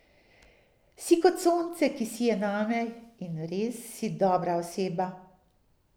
Si kot sonce, ki sije name, in res si dobra oseba.